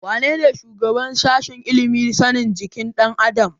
Wanene shugaban sashen ilimin sanin jikin ɗan adam?